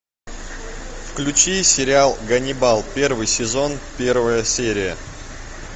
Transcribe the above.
включи сериал ганнибал первый сезон первая серия